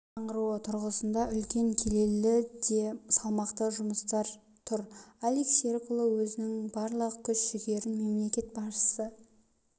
жаңғыруы тұрғысында үлкен келелі де салмақты жұмыстар тұр алик серікұлы өзінің барлық күш-жігерін мемлекет басшысы